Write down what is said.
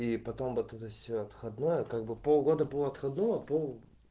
и потом вот это всё отходной как бы полгода было отходного пол